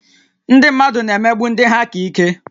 Ndị mmadụ na-emegbu ndị ha ka ike